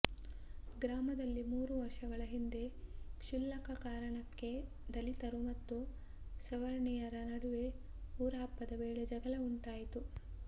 ಗ್ರಾಮದಲ್ಲಿ ಮೂರು ವರ್ಷಗಳ ಹಿಂದೆ ಕ್ಷುಲಕ ಕಾರಣಕ್ಕೆ ದಲಿತರು ಮತ್ತು ಸವರ್ಣಿಯರ ನಡುವೆ ಊರ ಹಬ್ಬದ ವೇಳೆ ಜಗಳ ಉಂಟಾಗಿತ್ತು